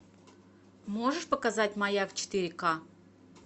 можешь показать маяк четыре ка